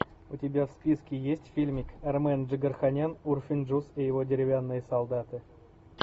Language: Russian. у тебя в списке есть фильмик армен джигарханян урфин джюс и его деревянные солдаты